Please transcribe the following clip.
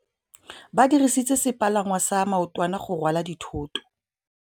Ba dirisitse sepalangwasa maotwana go rwala dithôtô.